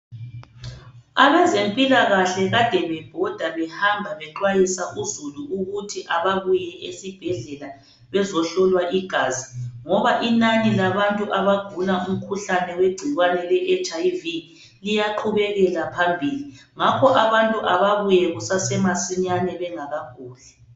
Abazempilakahle kade bebhoda behamba bexwayisa uzulu ukuthi ababuye esibhedlela bezohlolwa igazi ngoba inani labantu abagula umkhuhlane wegcikwane leHIV liyaqhubekela phambili. Ngakho abantu ababuye kusasemasinyane bengakaguli.